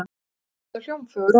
Allt eru þetta hljómfögur orð.